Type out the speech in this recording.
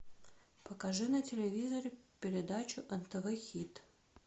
покажи на телевизоре передачу нтв хит